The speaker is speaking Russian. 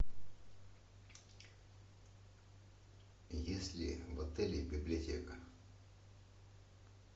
есть ли в отеле библиотека